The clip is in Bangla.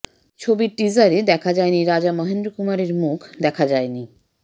ছবির টিজারে দেখা যায়নি রাজা মহেন্দ্রকুমারের মুখ দেখা যায়নি